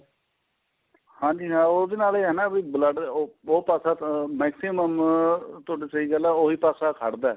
ਹਾਂਜੀ ਹਾਂ ਉਹਦੇ ਨਾਲ ਇਹ ਆ ਵੀ blood ਉਹ ਉਹ ਪਾਸਾ ਤਾਂ maximum ਤੁਹਾਡੀ ਸਹੀਂ ਗੱਲ ਏ ਉਹੀ ਪਾਸਾ ਖੜਦਾ ਏ